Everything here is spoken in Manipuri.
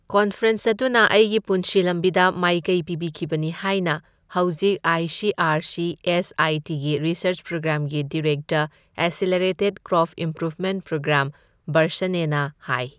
ꯀꯟꯐꯔꯦꯟꯁ ꯑꯗꯨꯅ ꯑꯩꯒꯤ ꯄꯨꯟꯁꯤ ꯂꯝꯕꯤꯗ ꯃꯥꯏꯀꯩ ꯄꯤꯈꯤꯕꯅꯤ ꯍꯥꯏꯅ ꯍꯧꯖꯤꯛ ꯑꯏꯁꯤꯑꯔꯁꯤꯑꯦꯁꯑꯏꯇꯤꯒꯤ ꯔꯤꯁꯔꯖ ꯄ꯭ꯔꯣꯒ꯭ꯔꯥꯝꯒꯤ director accelerated crop improvement program ꯕꯥꯔꯁꯥꯅꯦꯅ ꯍꯥꯏ꯫